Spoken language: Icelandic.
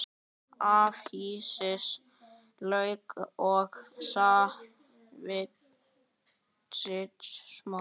Afhýðið lauk og saxið smátt.